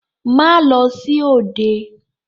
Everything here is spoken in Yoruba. Má lọ sí òde!